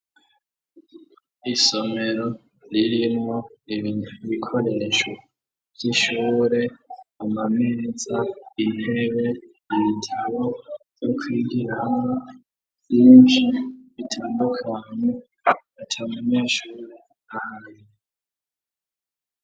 Isomero ririmwo ibikoresho vy'ishure ama meza ,intebe ibitabo vyo kwigiramwo vyinshi bitandukanye ,atamunyeshure ahari.